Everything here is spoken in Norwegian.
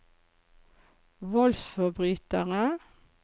voldsforbrytere